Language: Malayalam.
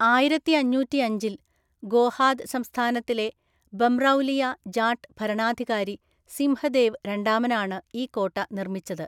ആയിരത്തിഅഞ്ഞൂറ്റിഅഞ്ചില്‍ ഗോഹാദ് സംസ്ഥാനത്തിലെ ബംറൗലിയ ജാട്ട് ഭരണാധികാരി സിംഹദേവ് രണ്ടാമനാണ് ഈ കോട്ട നിർമ്മിച്ചത്.